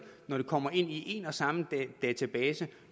når det kommer ind i en og samme database